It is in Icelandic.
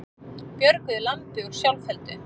Björguðu lambi úr sjálfheldu